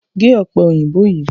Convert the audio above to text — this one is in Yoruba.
Gé ọ̀pẹ òyìnbó yìí!